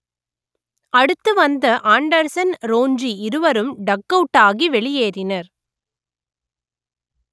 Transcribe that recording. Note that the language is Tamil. அடுத்து வந்த ஆண்டர்சன் ரோஞ்சி இருவரும் டக் அவுட் ஆகி வெளியேறினர்